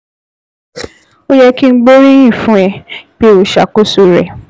Ó yẹ kí n gbóríyìn fún ẹ pé o ṣàkóso rẹ̀